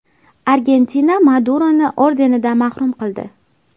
Argentina Maduroni ordenidan mahrum qildi.